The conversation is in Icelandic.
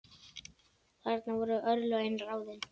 Þarna voru örlögin ráðin.